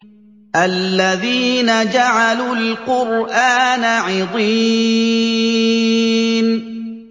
الَّذِينَ جَعَلُوا الْقُرْآنَ عِضِينَ